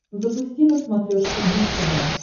запусти на смотрешке муз тв